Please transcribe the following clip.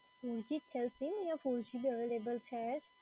three g ચાલસે યા four g બી available છે.